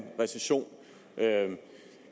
recession